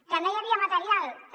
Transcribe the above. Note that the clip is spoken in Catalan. que no hi havia material també